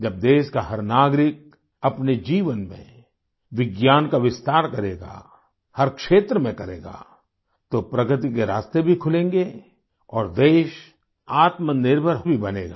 जब देश का हर नागरिक अपने जीवन में विज्ञान का विस्तार करेगा हर क्षेत्र में करेगा तो प्रगति के रास्ते भी खुलेंगे और देश आत्मनिर्भर भी बनेगा